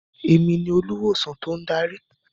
Èmi olùwòsàn tó ń darí.